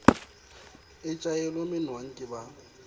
e tjhaelwe monwang ke ba